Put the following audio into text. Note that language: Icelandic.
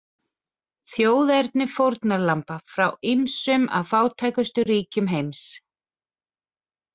Þjóðerni fórnarlamba: frá ýmsum af fátækustu ríkjum heims.